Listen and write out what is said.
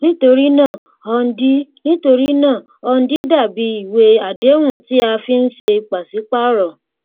nítorí náà hundi nítorí náà hundi dà bí ìwé àdéhùn tí a fi ń ṣe pàṣípààrò